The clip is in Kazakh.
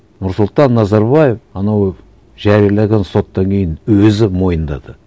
нұрсұлтан назарбаев анау жайлаған соттан кейін өзі мойындады